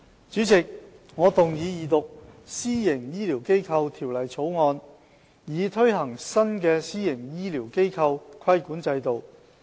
主席，我動議二讀《私營醫療機構條例草案》，以推行新的私營醫療機構規管制度。